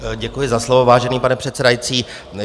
Děkuji za slovo, vážený pane předsedající.